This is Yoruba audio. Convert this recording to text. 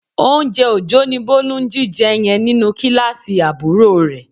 Oúnjẹ Òjó ni Bólú ń jíjẹ yẹn nínú kíláàsì àbúrò rẹ